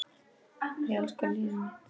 Ég elska líf mitt.